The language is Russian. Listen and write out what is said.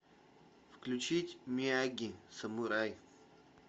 включить мияги самурай